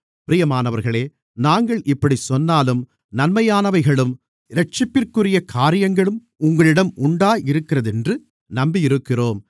பிரியமானவர்களே நாங்கள் இப்படிச் சொன்னாலும் நன்மையானவைகளும் இரட்சிப்பிற்குரிய காரியங்களும் உங்களிடம் உண்டாயிருக்கிறதென்று நம்பியிருக்கிறோம்